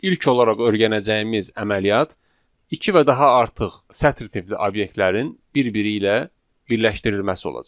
İlk olaraq öyrənəcəyimiz əməliyyat iki və daha artıq sətr tipli obyektlərin bir-biri ilə birləşdirilməsi olacaq.